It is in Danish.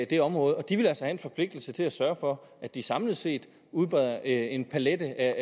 det område og de vil altså have en forpligtelse til at sørge for at de samlet set udbreder en palet af